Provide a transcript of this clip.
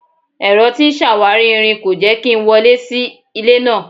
Ẹ̀rọ tí ń ṣàwárí irin náà kò jẹ́ kí n wọlé sí ilé náà.